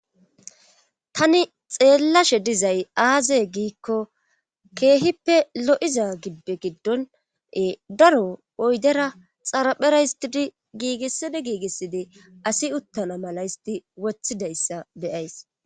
tani xeellashe dizay aaze giikko keehippe lo7iza gibbe giddone daro oydera xaraphera histii giigissidi giigissidi asi uttana mala histi wothidayssa beyays